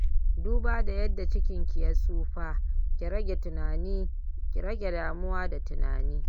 Duba da yadda cikinki ya tsufa, ki rage damuwa da tunani